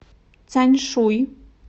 тяньшуй